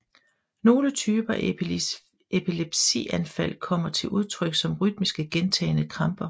Nogle typer af epilepsianfald kommer til udtrykt som rytmiske gentagne kramper